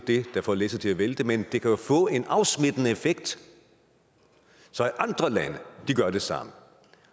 det der får læsset til at vælte men det kan jo få en afsmittende effekt så andre lande gør det samme